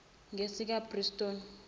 ngesikabrusciotto